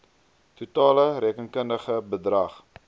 totale rekenkundige bedrag